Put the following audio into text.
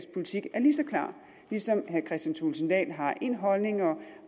politik er lige så klar ligesom herre kristian thulesen dahl har en holdning og